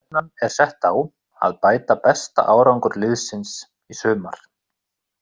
Stefnan er sett á að bæta besta árangur liðsins í sumar.